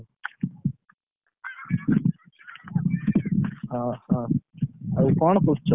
ହଁ ହଁ, ଏବେ କଣ କରୁଛ?